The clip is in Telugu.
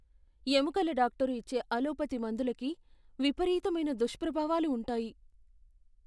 ఎముకల డాక్టరు ఇచ్చే అలోపతి మందులకి విపరీతమైన దుష్ప్రభావాలు ఉంటాయి.